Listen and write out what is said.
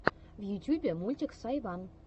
в ютюбе мультик сайван